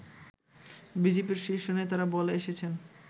বিজেপির শীর্ষ নেতারা বলে এসেছেন